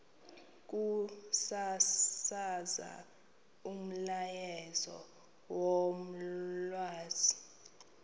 ukusasaza umyalezo wolwazi